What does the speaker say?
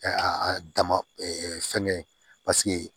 dama fɛngɛ